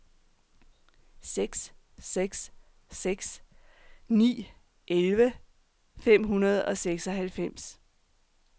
seks seks seks ni elleve fem hundrede og seksoghalvfems